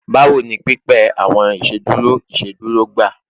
Bawo ni pipẹ awọn iṣeduro iṣeduro gba?